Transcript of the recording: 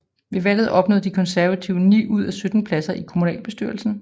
Ved valget opnåede De Konservative ni ud af 17 pladser i kommunalbestyrelsen